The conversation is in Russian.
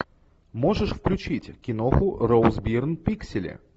можешь включить киноху роуз бирн пиксели